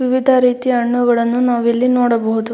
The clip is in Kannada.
ವಿವಿಧ ರೀತಿಯ ಹಣ್ಣುಗಳನ್ನು ನಾವು ಇಲ್ಲಿ ನೋಡಬಹುದು.